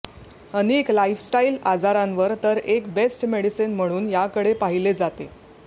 अनेक लाइफस्टाइल आजारांवर तर एक बेस्ट मेडिसीन म्हणून याकडे पाहिले जाते